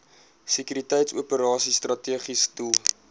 sekuriteitsoperasies strategiese doel